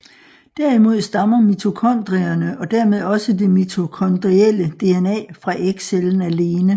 Derimod stammer mitokondrierne og dermed også det mitokondrielle DNA fra ægcellen alene